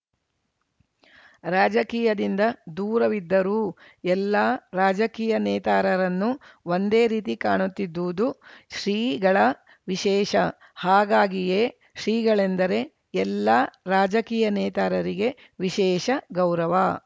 ರಾಜಕೀಯದಿಂದ ದೂರವಿದ್ದರೂ ಎಲ್ಲಾ ರಾಜಕೀಯ ನೇತಾರರನ್ನು ಒಂದೇ ರೀತಿ ಕಾಣುತ್ತಿದ್ದದ್ದು ಶ್ರೀಗಳ ವಿಶೇಷ ಹೀಗಾಗಿಯೇ ಶ್ರೀಗಳೆಂದರೆ ಎಲ್ಲಾ ರಾಜಕೀಯ ನೇತಾರರಿಗೆ ವಿಶೇಷ ಗೌರವ